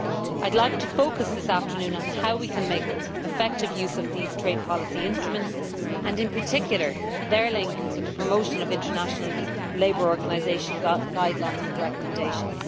I would like to focus this afternoon on how we can make effective use of these trade policy instruments and, in particular, their link to the promotion of International Labour Organisation guidelines and recommendations.